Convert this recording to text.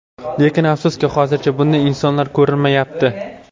Lekin afsuski, hozircha bunday insonlar ko‘rinmayapti.